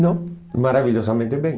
Não, maravilhosamente bem.